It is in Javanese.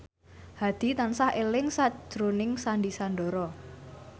Hadi tansah eling sakjroning Sandy Sandoro